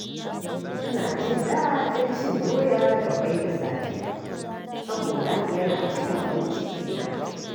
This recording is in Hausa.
Ina jin daɗin cin doya da ƙwai da safe saboda yana cika mun cikina.